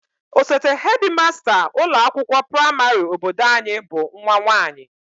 Osote hedịmasta ụlọakwụkwọ praịmarị obodo anyị bụ nwa nwaanyị